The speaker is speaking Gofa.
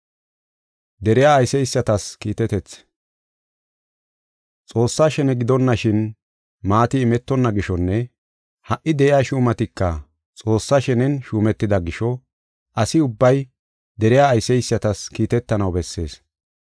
Xoossaa shene gidonashin maati imetonna gishonne ha77i de7iya shuumatika Xoossaa shenen shuumetida gisho asi ubbay deriya ayseysatas kiitetanaw bessees.